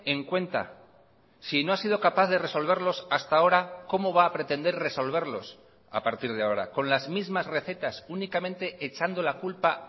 en cuenta si no ha sido capaz de resolverlos hasta ahora cómo va a pretender resolverlos a partir de ahora con las mismas recetas únicamente echando la culpa